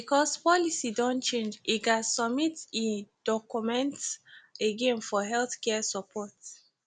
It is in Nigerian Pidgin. bcoz policy don change e gats submit e docomeents again for healthcare support